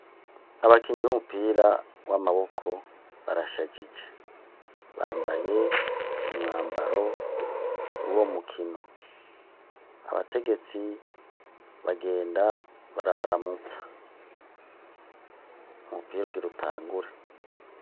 abakinyi b'umupira w'amaboko barashajije bambaye umwambaro wuwo mukino abategetsi bagenda barabaramutsa umupira ugirutangure